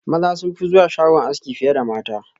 Maza sunfi zuwa shagon aski fiye da mata.